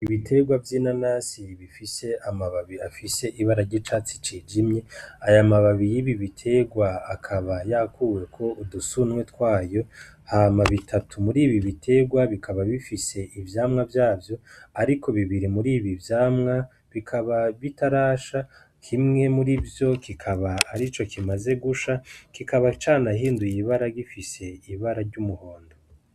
Ibiterwa vy'ina nasi bifise amababii afise ibara ry'icatsi cijimye ,aya mababi iy'ibi biterwa akaba yakuweko udusunwe twayo hama bitatu muri ibi biterwa bikaba bifise ivyamwa vyavyo, ariko bibiri muri ibi vyamwa bikaba bitarasha himwe muri vyo kikaba ari co kimaze gusha kikaba canahinduye ibara gifise ibara ry'umuhondo.